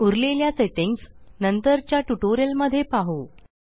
उरलेल्या सेट्टिंग्स नंतरच्या ट्यूटोरियल मध्ये पाहु